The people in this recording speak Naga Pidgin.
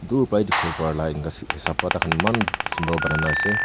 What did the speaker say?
dur bai dikhi wo pariwola enika sin hesap wa takhan maan sundur banai na ase.